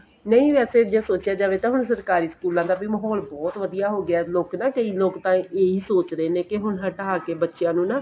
ਨਹੀਂ ਵੈਸੇ ਜੇ ਸੋਚਿਆਂ ਜਾਵੇ ਤਾਂ ਹੁਣ ਸਰਕਾਰੀ ਸਕੂਲਾ ਦਾ ਵੀ ਮਾਹੋਲ ਬਹੁਤ ਵਧੀਆ ਹੋਗਿਆ ਲੋਕ ਨਾ ਕਈ ਲੋਕ ਤਾਂ ਇਹੀ ਸੋਚਦੇ ਨੇ ਕੇ ਹੁਣ ਹਟਾ ਕੇ ਬੱਚਿਆਂ ਨੂੰ ਨਾ